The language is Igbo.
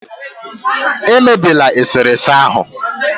emebila eserese ahụ